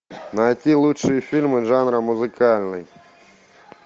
найти лучшие фильмы жанра музыкальный